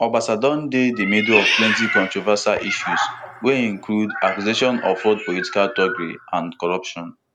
obasa don dey di middle of plenty controversial issues wey include accusations of fraud political thuggery and corruption